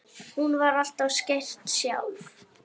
Hún var alltaf skreytt sjálf.